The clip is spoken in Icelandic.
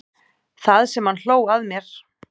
Það sem hann hló að mér.